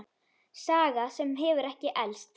Saga sem hefur ekki elst.